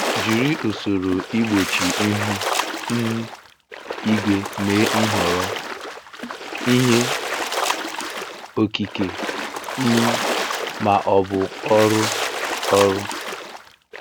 Jiri usoro igbochi ihu um igwe mee nhọrọ, ihe okike, um ma ọ bụ ọrụ ọrụ.